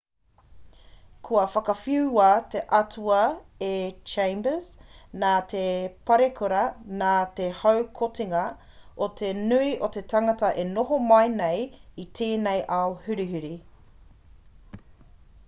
kua whakawhiua te atua e chambers nā te parekura nā te haukotinga o te nui o te tangata e noho mai nei i tēnei ao hurihuri